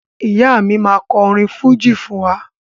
Ìyá mi máa kọ orin fújì fún wa